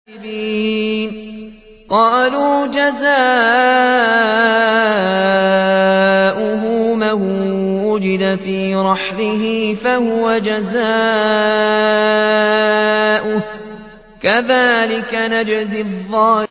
قَالُوا جَزَاؤُهُ مَن وُجِدَ فِي رَحْلِهِ فَهُوَ جَزَاؤُهُ ۚ كَذَٰلِكَ نَجْزِي الظَّالِمِينَ